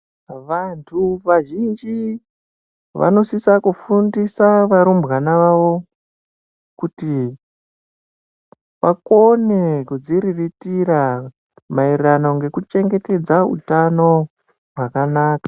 Vanthu vazhinji vanosisa kufundisa varumbwana vavo kuti vakone kudziriritira maererano ngekuchengetedza utano hwakanaka.